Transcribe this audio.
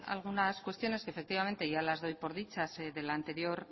algunas cuestiones que efectivamente ya las doy por dichas de la anterior